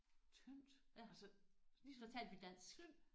Tyndt altså ligesom tynd?